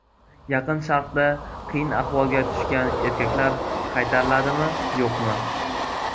Yaqin Sharqda qiyin ahvolga tushgan erkaklar qaytariladimi, yo‘qmi?